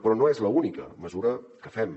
però no és l’única mesura que fem